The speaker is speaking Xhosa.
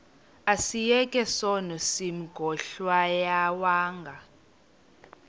asiyeke sono smgohlwaywanga